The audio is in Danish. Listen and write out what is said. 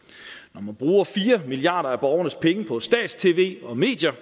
når man bruger fire milliard kroner af borgernes penge på stats tv og medier